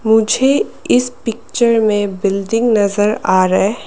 मुझे इस पिक्चर में बिल्डिंग नजर आ रहा है।